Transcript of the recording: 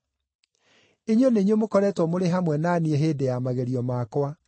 Inyuĩ nĩ inyuĩ mũkoretwo mũrĩ hamwe na niĩ hĩndĩ ya magerio makwa.